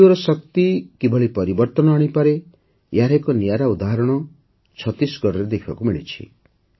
ରେଡିଓର ଶକ୍ତି କିଭଳି ପରିବର୍ତ୍ତନ ଆଣିପାରେ ଏହାର ଏକ ନିଆରା ଉଦାହରଣ ଛତିଶଗଡ଼ରେ ଦେଖିବାକୁ ମିଳିଛି